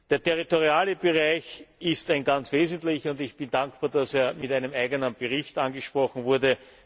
Der territoriale Bereich ist ein ganz wesentlicher, und ich bin dankbar, dass er mit einem eigenen Bericht angesprochen wurde.